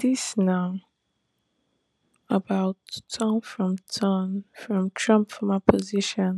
dis na about turn from turn from trump former position